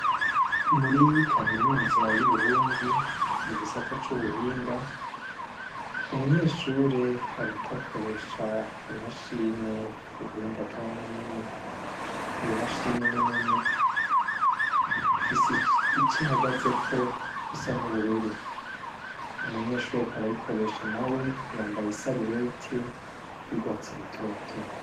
Muri kaminuza y'uburundi mu gisata c'ubuhinga umunyeshure hariko akoresha imashine y'ubuhinga bwa none iyo mashini ninini ifise ico ihagazeko gisa n'ubururu umunyeshure reko arayikoresha na we yambaye i saluweti y'ugwatsi lutoto.